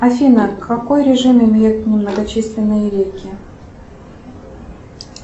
афина какой режим имеют многочисленные реки